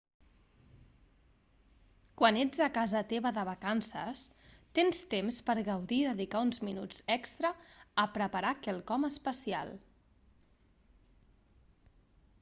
quan ets a casa teva de vacances tens temps per gaudir i dedicar uns minuts extra a preparar quelcom especial